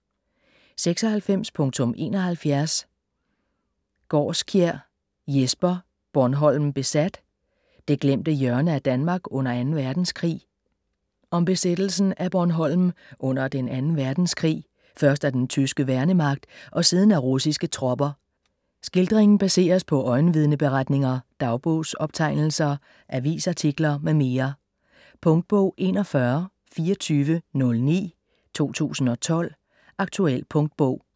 96.71 Gaarskjær, Jesper: Bornholm besat: det glemte hjørne af Danmark under Anden Verdenskrig Om besættelsen af Bornholm under den anden verdenskrig, først af den tyske værnemagt og siden af russiske tropper. Skildringen baseres på øjenvidneberetninger, dagbogsoptegnelser, avisartikler m.m. Punktbog 412409 2012. Aktuel punktbog